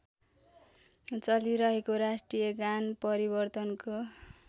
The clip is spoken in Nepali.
चलिरहेको राष्ट्रियगान परिवर्तनको